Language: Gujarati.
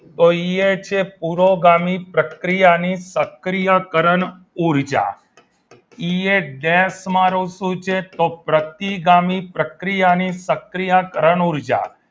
તો ઈ એ છે પુરોગામી પ્રક્રિયા ની સક્રિયકરણ ઊર્જા ઈ ગેસમાં શું છે તો પપ્રતિગામી પ્રક્રિયાની સક્રિયકરણ ઊર્જા